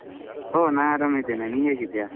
ಓ ನಾನ್ ಆರಾಮಿದ್ದೇನೆ. ನೀನ್ ಹೇಗಿದ್ದೀಯಾ?